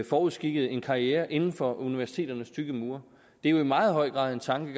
forudskikket en karriere inden for universiteternes tykke mure det er jo i meget høj grad tanken